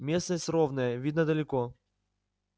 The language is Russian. местность ровная видно далеко